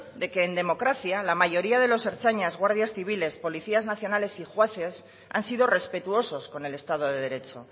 de que en democracia la mayoría de los ertzainas guardias civiles policías nacionales y jueces han sido respetuosos con el estado de derecho